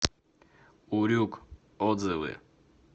урюк отзывы